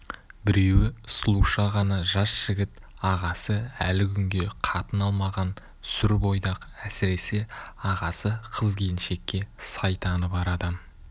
біреуі сұлуша ғана жас жігіт ағасы әлі күнге қатын алмаған сүр бойдақ әсіресе ағасы қыз-келіншекке сайтаны бар адам